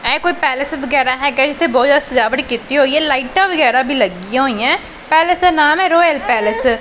ਹੈ ਕੋਈ ਪੈਲਸ ਵਗੈਰਾ ਹੈਗਾ ਜਿੱਥੇ ਬਹੁਤ ਜਿਆਦਾ ਸਜਾਵਟ ਕੀਤੀ ਹੋਈ ਹੈ ਲਾਈਟਾਂ ਵਗੈਰਾ ਵੀ ਲੱਗੀਆਂ ਹੋਈਆਂ ਪੈਲੇਸ ਦਾ ਨਾਮ ਹੈ ਰੋਇਲ ਪੈਲਸ ।